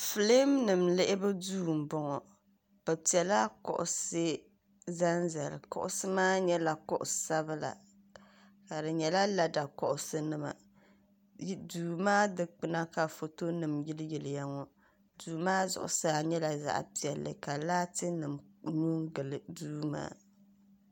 Filiimnima lihibu duu m bɔŋɔ bɛ pɛla kuɣisi kuɣisi maa nyɛla kuɣ sabila di nyɛla lada kuɣisinima duu maa dikpuna ka fotonima yiliyilya ŋɔ duu maa zuɣusaa nyɛla zaɣ 'piɛla ka laatinima gili duu maa